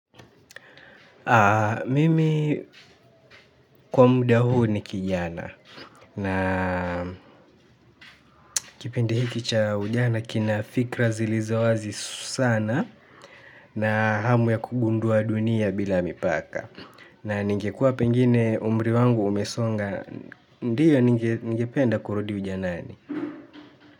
Mimi kwa muda huu ni kijana na kipindi hiki cha ujana kina fikra zilizo wazi sana, na hamu ya kugundua dunia bila mipaka. Na ningekua pengine umri wangu umesonga, ndiyo ningependa kurudi ujanani.